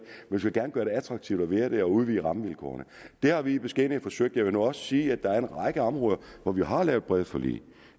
vi skal gerne gøre det attraktivt at være derude via rammevilkårene det har vi i beskedenhed forsøgt jeg vil nu også sige at der er en række områder hvor vi har lavet brede forlig